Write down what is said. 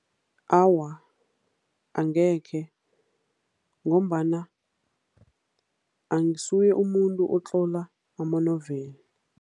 Awa, angekhe ngombana angisuye umuntu otlola ama-novel.